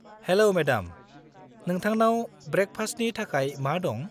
हेल' madam, नोंथांनाव ब्रेकफास्ट‍नि थाखाय मा दं?